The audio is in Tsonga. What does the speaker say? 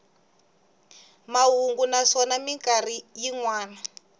mahungu naswona mikarhi yin wana